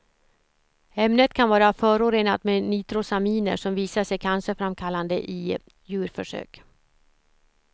Ämnet kan vara förorenat med nitrosaminer, som visat sig cancerframkallande i djurförsök.